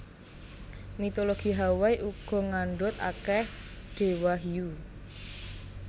Mitologi Hawaii uga ngandhut akèh déwa hiyu